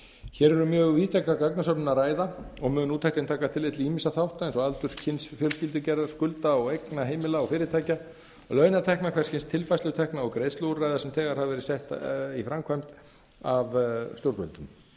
hér er um mjög víðtæka gagnasöfnun að ræða og mun úttektin taka tillit til ýmissa þátta eins og aldurs kyns fjölskyldugerðar skulda og eigna heimila og fyrirtækja launatekna hvers kyns tilfærslutekna og greiðsluúrræða sem þegar hafa verið sett í framkvæmd af stjórnvöldum